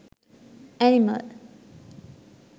animal